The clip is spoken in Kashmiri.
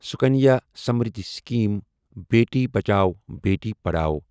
سَکنیا سمریٖدھی سَکیٖم بیٹی بچاؤ بیٹی پڑھٛاو